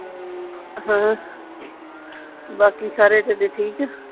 ਹਾਂ ਬਾਕੀ ਸਾਰੇ ਤੁਹਾਡੇ ਠੀਕ ਆ